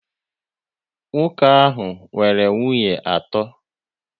Nwoke ahụ nwere nwunye atọ